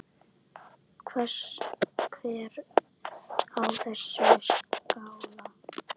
Hver á þessa skál?